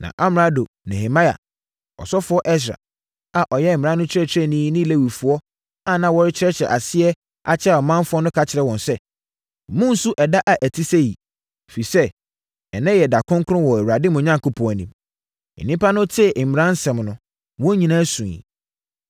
Na amrado Nehemia, ɔsɔfoɔ Ɛsra a ɔyɛ mmara no kyerɛkyerɛni ne Lewifoɔ a na wɔrekyerɛkyerɛ aseɛ akyerɛ ɔmanfoɔ no ka kyerɛɛ wɔn sɛ, “Monnsu ɛda a ɛte sɛ yei! Ɛfiri sɛ, ɛnnɛ yɛ ɛda kronkron wɔ Awurade, mo Onyankopɔn, anim.” Nnipa no tee mmara no mu nsɛm no, wɔn nyinaa suiɛ.